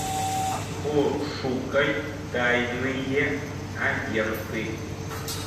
пошукай тайные агенты